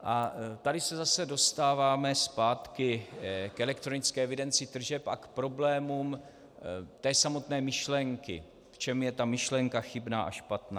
A tady se zase dostáváme zpátky k elektronické evidenci tržeb a k problémům té samotné myšlenky, v čem je ta myšlenka chybná a špatná.